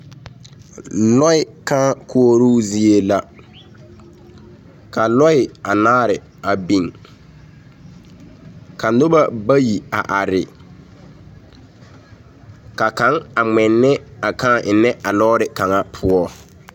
Lɔɛ kaa koɔroo zie la ka lɔɛ anaare a beŋ ka nobɔ bayi a are ka kaŋ a ŋmɛne a kaa ennɛ a lɔɔre kaŋa poɔ.